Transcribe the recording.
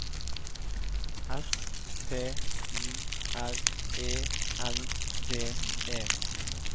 S T Y R E N D E